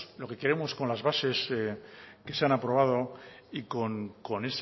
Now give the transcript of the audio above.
lo que queremos con las bases que se han aprobado y con